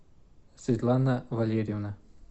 светлана валерьевна